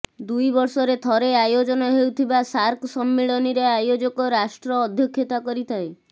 ଦୁଇ ବର୍ଷରେ ଥରେ ଆୟୋଜନ ହେଉଥିବା ସାର୍କ ସମ୍ମିଳନୀରେ ଆୟୋଜକ ରାଷ୍ଟ୍ର ଅଧ୍ୟକ୍ଷତା କରିଥାଏ